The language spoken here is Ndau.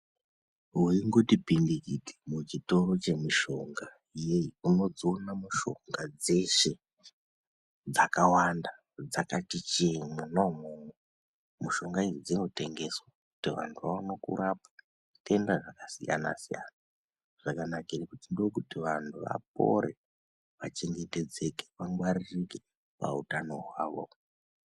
Weingoti pindikiti muchitoro chemushonga unodziona mishonga dzeshe dzakawanda dzakati njee mwona umwomwo mushonga idzi dzinotengeswa kuti vanthu vaone kurapwa zvitenda zvakasiyana siyana saka tinode kuti vanthu vapore vachengetedzeke vangwaririke pautano hwavo.